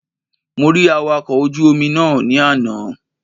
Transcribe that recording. Mo rí Awakọ̀ ojú Omi náà ní àná